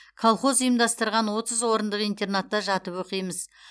колхоз ұйымдастырған отыз орындық интернатта жатып оқимыз